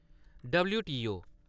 W T O